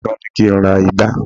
ìyá kan ni ki n ra ìgbá